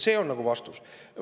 See on nagu vastus.